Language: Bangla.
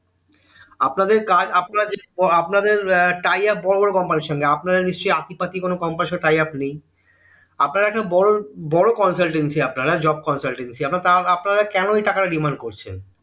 আপনাদের কাজ আপনাদের এর tyaf বড়ো বড়ো company এর সঙ্গে আপনারা নিশ্চই আতি পাতি কোনো company এর সঙ্গে tyaf নেই আপনারা একটা বড়ো consultancy আপনারা job consultancy আপনারা তও ওই টাকাটা demand করছেন